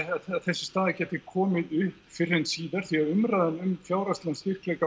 þessi staða gæti komið upp fyrr en síðar því umræðan um fjárhagslega styrkleika